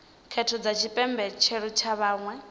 khetho dza tshipentshela kha vhaṅwe